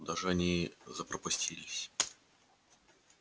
куда же они запропастились